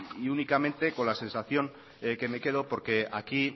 y únicamente con la sensación que me quedo porque aquí